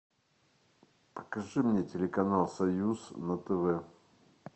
покажи мне телеканал союз на тв